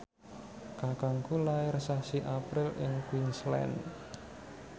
kakangku lair sasi April ing Queensland